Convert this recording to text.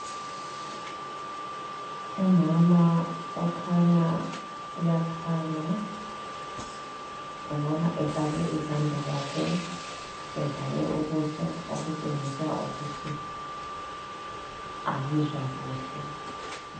Umama okhanya uyakhala ngibona efake izandla zakhe, evale ubuso okutshengisa ukuthi akezwa kuhle.